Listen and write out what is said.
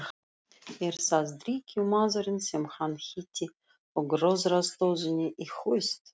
Er það drykkjumaðurinn sem hann hitti í gróðrarstöðinni í haust?